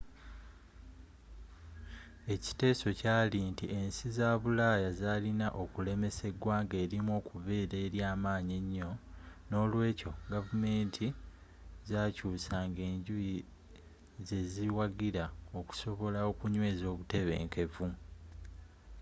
ekiteeso kyaali nti ensi za bulaaya zaalina okulemesa eggwanga erimu okubeera eryaamanyi ennyo n'olweekyo gavumenti zaakyuusanga enjuyi zeziwagira okusobola okunyweeza obutebenkevu